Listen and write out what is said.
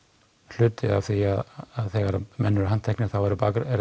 hluti af því þegar menn eru handteknir þá eru